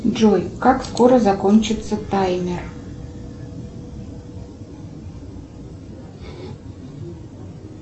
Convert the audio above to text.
джой как скоро закончится таймер